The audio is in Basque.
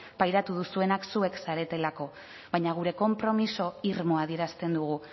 pairatu duzuenak zuek zaretelako baina gure konpromiso irmoa adierazten dugu